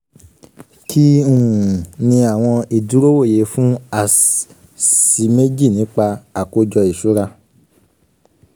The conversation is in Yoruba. um kí um ni àwọn ìdúrówòye fún as -sí méjì nípa àkójọ ìṣura?